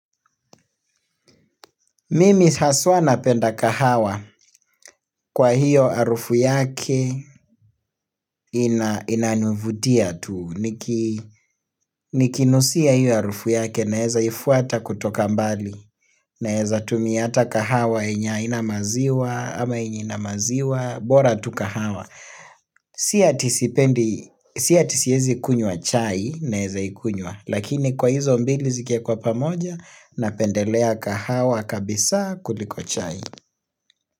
Mimi haswa napenda kahawa kwa hiyo arufu yake inanivutia tuu. Nikinusia hiyo harufu yake naweza ifuata kutoka mbali. Naweza tumia hata kahawa yenye haina maziwa ama yenye ina maziwa. Bora tukahawa. Sia tisipendi, sia tisiezi kunywa chai naeza ikunywa. Lakini kwa hizo mbili zikiwekwa pamoja napendelea kahawa kabisa kuliko chai.